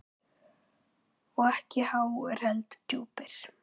Og ekki háir, heldur djúpir.